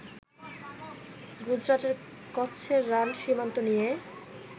গুজরাটের কচ্ছের রান সীমান্ত নিয়ে